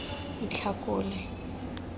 itlhakole